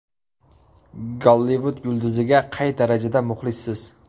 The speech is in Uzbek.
Gollivud yulduziga qay darajada muxlissiz?.